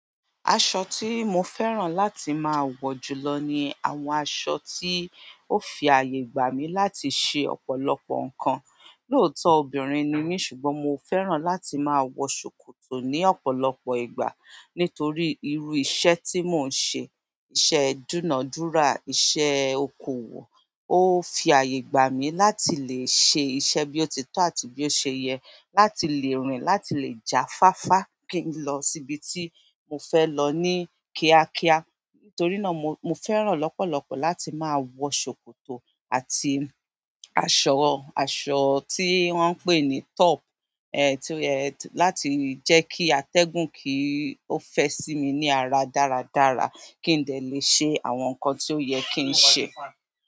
Aṣọ tí mo fẹ́ràn láti máa wọ jùlọ ni àwọn aṣọ tí ó fi àyè gbà mí láti ṣe ọ̀pọ̀lọpọ̀ nǹkan. Looto obìnrin nimi ṣùgbọ́n mo fẹ́ràn láti maa wo sokoto ni ọ̀pọ̀lọpọ̀ ìgbà to ri iru iṣẹ́ ti mo n se iṣẹ́ duna dura iṣẹ́ okoòwò. Ó fi àyè gbà mí láti lè ṣe iṣẹ́ bí ó ti tọ́ àti bí ó ṣe yẹ, láti lè rìn, láti lè jafáfá kí n lọ síbi tí mo fẹ́ lọ ní kíákíá. Nítorí náà mo, mo fẹ́ràn lọ́pọ̀lọpọ̀ láti máa wọ ṣòkòtò àti aṣọ, aṣọ tí wọ́n ń pè ní top, ẹ̀, tí ó yẹ láti jẹ́ kí atẹ́gùn kí ó fẹ sí mi ní ara dáradára kí n lè ṣe àwọn nǹkan tí ó yẹ kí n ṣe.